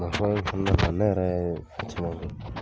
kɔnɔna la, ne yɛrɛ ye fɛn caman kɛ.